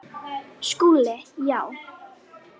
SKÚLI: Já!